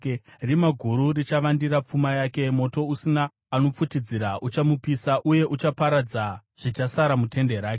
rima guru richavandira pfuma yake. Moto usina anopfutidzira uchamupisa uye uchaparadza zvichasara mutende rake.